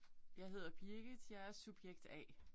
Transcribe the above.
Jeg hedder Birgit. Jeg er subjekt A